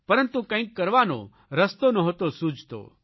પરંતુ કંઇક કરવાનો રસ્તો નહતો સૂઝતો